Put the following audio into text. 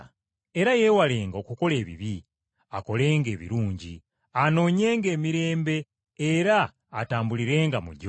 Era yeewalenga okukola ebibi, akolenga ebirungi. Anoonyenga emirembe era atambulirenga mu gyo.